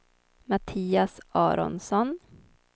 Mattias Aronsson